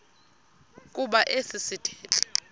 kuba esi sithethe